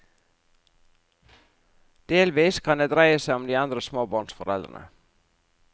Delvis kan det dreie seg om de andre småbarnsforeldrene.